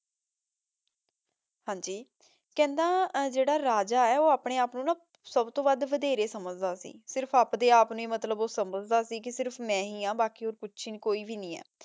ਹਾਂਜੀ ਕਹੰਦਾ ਆਯ ਜੇਰਾ ਰਾਜਾ ਆਯ ਊ ਅਪਨੇ ਆਪ ਨੂ ਸਬ ਤੋਂ ਵਾਦ ਵਡੇਰੇ ਸਮਝਦਾ ਸੀ ਸਿਰਫ ਅਪਡੇ ਆਪ ਨੂ ਈ ਊ ਸਮਝਦਾ ਸੀ ਕੇ ਸਿਰਫ ਮੈਂ ਹੀ ਆਂ ਬਾਕੀ ਹੋਰ ਕੁਛ ਵੀ ਕੋਈ ਨਹੀ ਆਯ